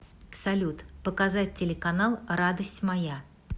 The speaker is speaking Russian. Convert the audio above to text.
салют показать телеканал радость моя